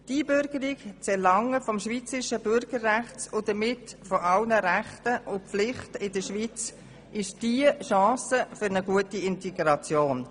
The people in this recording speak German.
Die Einbürgerung und das Erlangen des schweizerischen Bürgerrechts – und damit aller Rechte und Pflichten in der Schweiz – ist die Chance für eine gute Integration.